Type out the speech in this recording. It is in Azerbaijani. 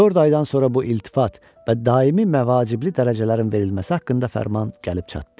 Dörd aydan sonra bu iltifat və daimi məvacibli dərəcələrin verilməsi haqqında fərman gəlib çatdı.